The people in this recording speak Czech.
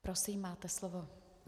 Prosím, máte slovo.